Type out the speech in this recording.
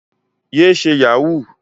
Yé ṣe Yahoo!